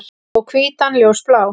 Og hvítan ljósblá.